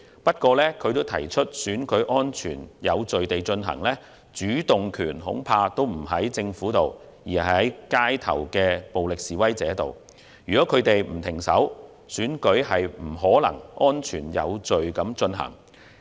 不過，他同時提到選舉能否安全有序地進行，主動權恐怕不在政府手上，而是在街頭暴力示威者的手中，如果他們不停手，選舉便不可能安全有序地進行。